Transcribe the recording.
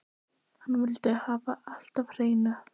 Hann vildi hafa allt á hreinu.